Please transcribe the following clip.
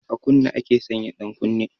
A kunne ake sanya ɗankunne